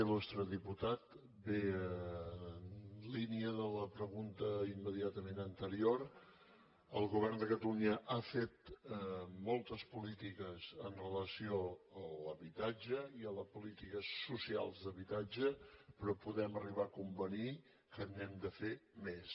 il·lustre diputat bé en línia de la pregunta immediatament anterior el govern de catalunya ha fet moltes polítiques amb relació a l’habitatge i a les polítiques socials d’habitatge però podem arribar a convenir que n’hem de fer més